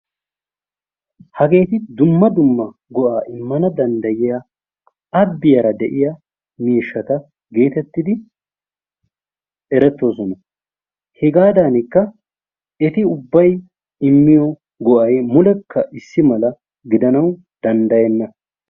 Hageeti dumma dumma go''a immana danddyiya abbiyara de'iyaa miishshata getettidi erettoosona. Hegaadankka eti ubbay immiyo go''ay mulekka issi mala gidanawu danddayyeena.